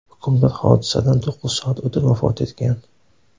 Hukmdor hodisadan to‘qqiz soat o‘tib, vafot etgan.